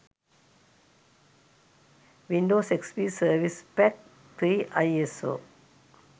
windows xp service pack 3 iso